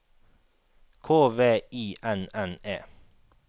K V I N N E